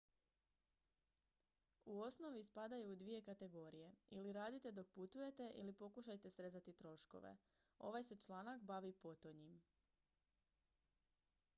u osnovi spadaju u dvije kategorije ili radite dok putujete ili pokušajte srezati troškove ovaj se članak bavi potonjim